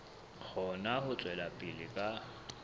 kgone ho tswela pele ka